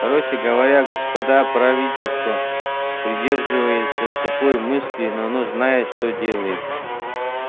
короче говоря господа правительство придерживается такой мысли но оно знает что делает